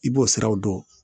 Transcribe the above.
I b'o siraw dɔn